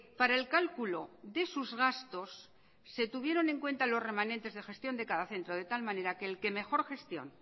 para el cálculo de sus gastos se tuvieron en cuenta los remanentes de gestión de cada centro de tal manera que el que mejor gestión